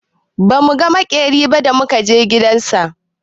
Ba mu ga maƙerin ba da muka je gidan sa.